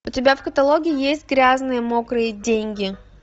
у тебя в каталоге есть грязные мокрые деньги